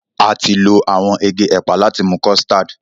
A ti lo awọn ege ẹpa láti mú custard